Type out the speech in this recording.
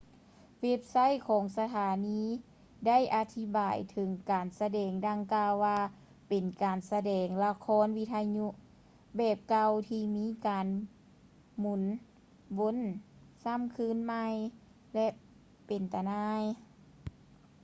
ເວັບໄຊທ໌ຂອງສະຖານີໄດ້ອະທິບາຍເຖິງການສະແດງດັ່ງກ່າວວ່າເປັນ ການສະແດງລະຄອນວິທະຍຸແບບເກົ່າທີ່ມີການໝຸນວົນຊ້ຳຄືນໃໝ່ ແລະ ເປັນຕາໜ່າຍ